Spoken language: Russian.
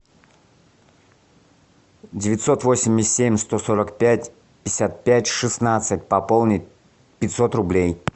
девятьсот восемьдесят семь сто сорок пять пятьдесят пять шестнадцать пополнить пятьсот рублей